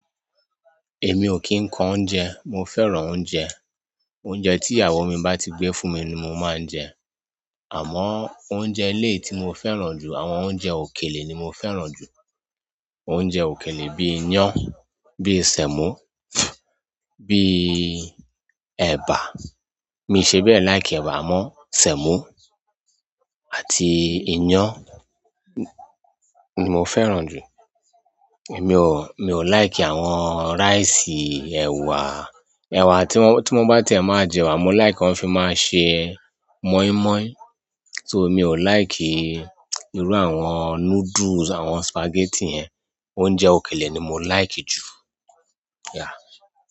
Èmi ò kín ń kọ oúnjẹ, mo fẹ́ràn oúnjẹ. Oúnjẹ tí ìyàwó mi bá ti gbé fún mi ni mo máa ń jẹ. Àmọ́ oúnjẹ ilé tí mo fẹ́ràn jù, àwọn oúnjẹ òkèlè ni mo fẹ́ràn jù. Oúnjẹ òkèlè bí i iyán, bí i sèmó, bí i ẹ̀bà. Mi ò ṣe bẹ́ẹ̀ like ẹ̀bà mọ́, sèmó àti iyán ni mo fẹ́ràn jù. Mi ò, mi ò like àwọn rice, ẹwà, ẹwà tí mo bá ti ẹ máa jẹ ẹwà, mo like kọ́n fi máa ń ṣe mọ́ímọ́í. So mi ò like irú àwọn noodles, àwọn spaghetti yẹn. Oúnjẹ òkèlè ni mo like jù, yeah.